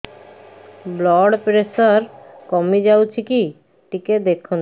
blood pressure କମି ଯାଉଛି କି ଟିକେ ଦେଖନ୍ତୁ